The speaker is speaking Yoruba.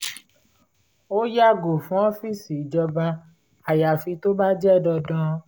ó yàgò fún ọ́fíìsì ìjọba ayafi tó bá jẹ́ dandan